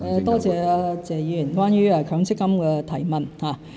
多謝謝議員關於強積金的提問。